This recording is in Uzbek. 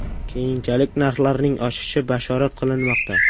Keyinchalik narxlarning oshishi bashorat qilinmoqda.